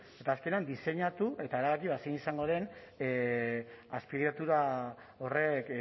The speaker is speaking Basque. eta azkenean diseinatu eta erabaki zein izango den azpiegitura horrek